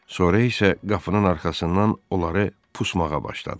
Sonra isə qapının arxasından onları pusmağa başladı.